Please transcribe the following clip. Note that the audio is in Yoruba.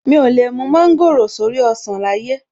Mi ò lè gbé/ mú mọ́ńgòrò sórí ọsàn láyé!